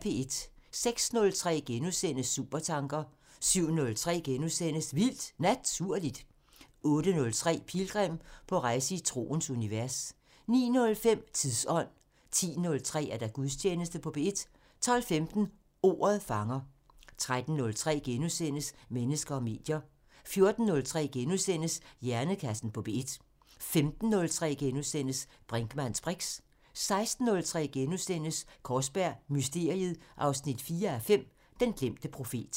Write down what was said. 06:03: Supertanker * 07:03: Vildt Naturligt * 08:03: Pilgrim – på rejse i troens univers 09:05: Tidsånd 10:03: Gudstjeneste på P1 12:15: Ordet fanger 13:03: Mennesker og medier * 14:03: Hjernekassen på P1 * 15:03: Brinkmanns briks * 16:03: Kaarsberg Mysteriet 4:5 – Den glemte profet *